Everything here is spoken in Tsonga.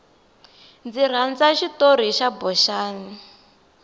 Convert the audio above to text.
ndzi rhandza xitori xa boxani